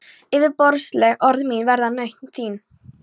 Yfirborðsleg orð mín verða nautn þín.